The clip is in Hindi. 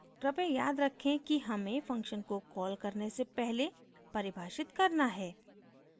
कृपया याद रखें कि हमें function को कॉल करने से पहले परिभाषित करना है